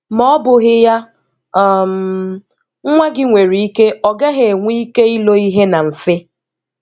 Ma ọ bụghị ya, um nwa gị nwere ike ọ gaghị enwe ike ilo ihe na mfe